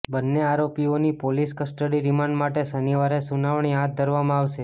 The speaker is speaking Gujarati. બંન્ને આરોપીઓની પોલીસ કસ્ટડી રિમાન્ડ માટે શનિવારે સુનાવણી હાથ ધરવામાં આવશે